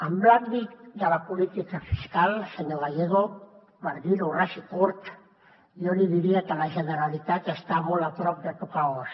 en l’àmbit de la política fiscal senyor gallego per dir ho ras i curt jo li diria que la generalitat està molt a prop de tocar os